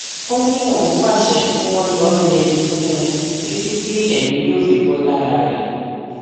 ó ní òun pàṣẹ kí wọn lọọ yẹgi fún un títí tí èmi yóò fi bò lára rẹ